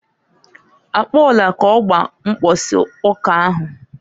Akpola k'ọgba mbọsị ụka ahụ.